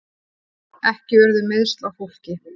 Ekki urðu meiðsl á fólki